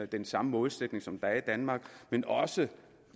den samme målsætning som der er i danmark men også